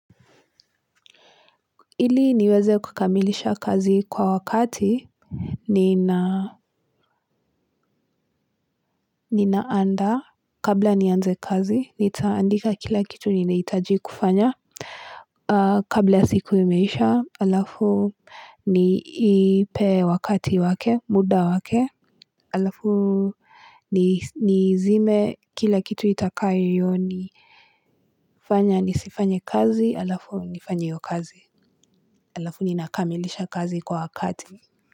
Ili niweze kukamilisha kazi kwa wakati ninaandaa kabla nianze kazi nitaandika kila kitu ninahitaji kufanya kabla ya siku imeisha alafu niipe wakati wake muda wake alafu nizime kila kitu itakayonifanya nisifanye kazi alafu nifanye hiyo kazi alafu ninakamilisha kazi kwa wakati.